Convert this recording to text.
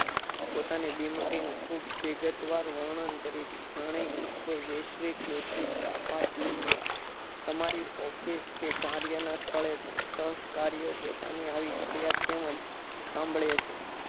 પોતાની બીમારીનું ખુબ વિગત વાર વર્ણન કરે છે જાણે કે કોઈ વૈશ્વિક તાકાત હોય છે. તમારી office કે કાર્યના સ્થળે પણ સહસકાર્ય પોતાની આવી ફરિયાદ તેમજ સાંભળીયે છીએ